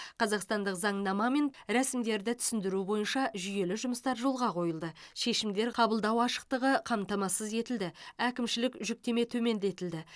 қазақстандық заңнама мен рәсімдерді түсіндіру бойынша жүйелі жұмыстар жолға қойылды шешімдер қабылдау ашықтығы қамтамасыз етілді әкімшілік жүктеме төмендетілді